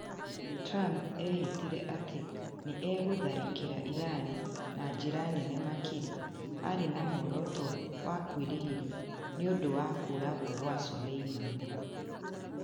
Trump ehĩtire atĩ nĩ egũtharĩkĩra Irani na njĩra nene makĩria arĩ na muoroto wa kwĩrĩhĩria nĩ ũndũ wa kũũragwo kwa Soleimani.